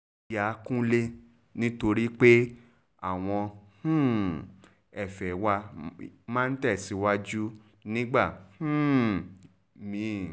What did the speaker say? yà kúnlẹ́ nítorí pé àwọn um ẹ̀fẹ́ wa máa ń tẹ̀síwájú nígbà um mí-ín